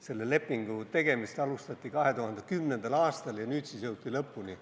Selle lepingu tegemist alustati 2010. aastal ja nüüd siis jõuti lõpuni.